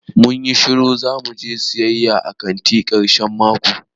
Mun yi shiru zamu je siyaya a kanti karshen mako.